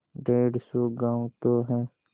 डेढ़ सौ गॉँव तो हैं